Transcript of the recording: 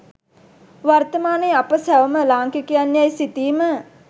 වර්තමානයේ අප සැවොම ලාංකිකයින් යැයි සිතීම